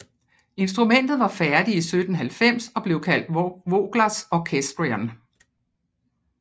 Instrumentet var færdig i 1790 og blev kaldt Voglers orchestrion